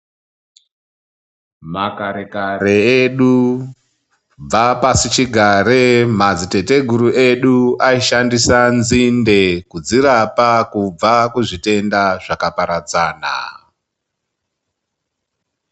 Makare kare edu kubva pasichigare madzitateguru edu aishandisa nzinde kudzirapa kubva kuzvitenda zvakaparadzana.